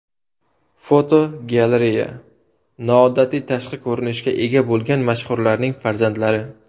Fotogalereya: Noodatiy tashqi ko‘rinishga ega bo‘lgan mashhurlarning farzandlari.